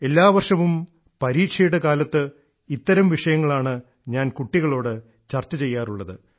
എല്ലാ വർഷവും പരീക്ഷയുടെ കാലത്ത് ഇത്തരം വിഷയങ്ങളാണ് ഞാൻ കുട്ടികളോട് ചർച്ച ചെയ്യാറുള്ളത്